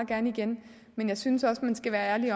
gerne igen men jeg synes også man skal være ærlig